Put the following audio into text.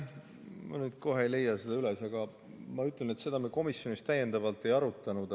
Ma nüüd kohe ei leia seda üles, aga ma ütlen, et seda me komisjonis ei arutanud.